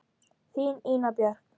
Þín, Ína Björk.